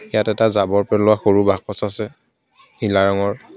ইয়াত এটা জাবৰ পেলোৱা সৰু বাকচ আছে নীলা ৰঙৰ.